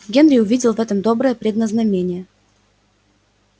генри увидел в этом доброе предназномение